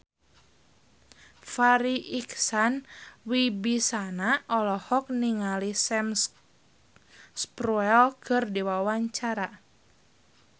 Farri Icksan Wibisana olohok ningali Sam Spruell keur diwawancara